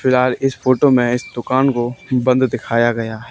फिलहाल इस फोटो में इस दुकान को बंद दिखाया गया है।